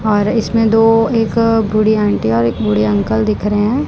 और इसमें दो एक बुढ़ी आंटी और एक बुढ़े अंकल दिख रहे हैं।